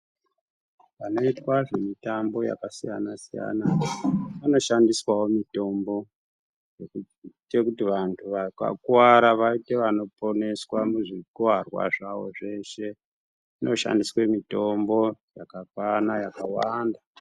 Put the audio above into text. Panoitwa zvemutambo yakasiyana siyana panoshandiswawo mitombo yekuite kuti vantu vakakuwara vaite vanoponeswa muzvikuwarwa zvavo zveshe kunoshandiswe mitombo yakakwana yakawanda.